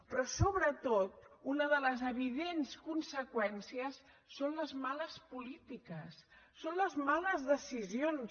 però sobretot una de les evidents conseqüències són les males polítiques són les males decisions